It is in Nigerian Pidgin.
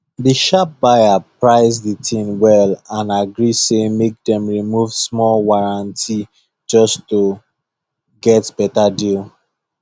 the sharp buyer price the thing well and agree say make dem remove small warranty just to get better deal